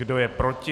Kdo je proti?